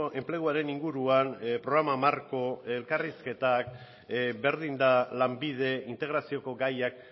enpleguaren inguruan programa marko elkarrizketak berdin da lanbide integrazioko gaiak